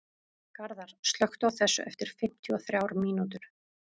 Garðar, slökktu á þessu eftir fimmtíu og þrjár mínútur.